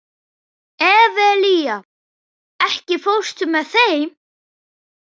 Evelía, ekki fórstu með þeim?